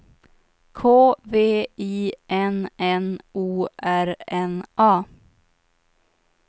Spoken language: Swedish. K V I N N O R N A